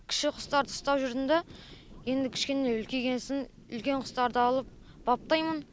кіші құстарды ұстап жүрдім да енді кішкене үлкейген соң үлкен құстарды алып баптаймын